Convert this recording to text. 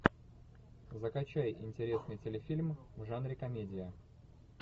закачай интересный телефильм в жанре комедия